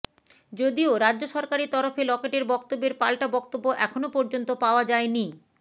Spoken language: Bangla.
যদিও রাজ্য সরকারের তরফে লকেটের বক্তব্যের পাল্টা বক্তব্য এখনও পর্যন্ত পাওয়া যায়নি